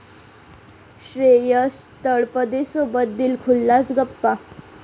श्रेयस तळपदेसोबत दिलखुलास गप्पा